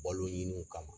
Balo ɲiniw kama